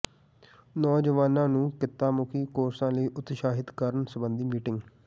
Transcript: ਨੌਜਵਾਨਾਂ ਨੂੰ ਕਿੱਤਾਮੁਖੀ ਕੋਰਸਾਂ ਲਈ ਉਤਸ਼ਾਹਿਤ ਕਰਨ ਸਬੰਧੀ ਮੀਟਿੰਗ